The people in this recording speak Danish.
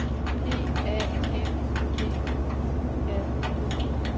P A N D U R O